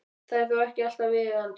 Það er þó ekki alltaf viðeigandi.